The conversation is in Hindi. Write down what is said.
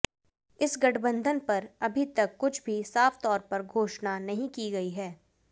इस गठबंधन पर अभी तक कुछ भी साफ तौर पर घोषणा नहीं की गयी है